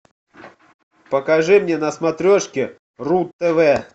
покажи мне на смотрешке ру тв